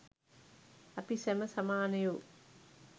අපි සැම සමානයෝ.